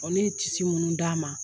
Ɔ ne tisi minnu d'a ma